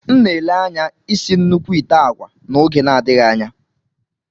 M na-ele anya isi nnukwu ite agwa n'oge na-adịghị anya.